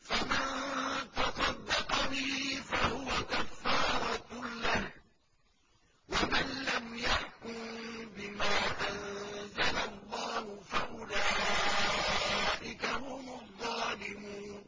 فَمَن تَصَدَّقَ بِهِ فَهُوَ كَفَّارَةٌ لَّهُ ۚ وَمَن لَّمْ يَحْكُم بِمَا أَنزَلَ اللَّهُ فَأُولَٰئِكَ هُمُ الظَّالِمُونَ